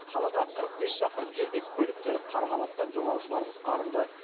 қаладан қырық бес шақырым жерде көліктері қарға батқан жолаушылар құтқарылды